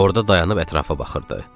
Orada dayanıb ətrafa baxırdı.